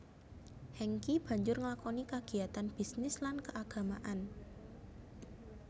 Hengky banjur nglakoni kagiyatan bisnis lan keagamaan